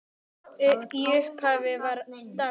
Í upphafi var dans.